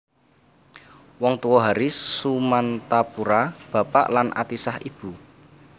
Wong Tuwa Haris Sumantapura bapak lan Atisah ibu